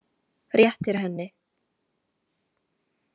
Réttir henni.